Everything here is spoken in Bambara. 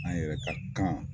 An yɛrɛ ka kan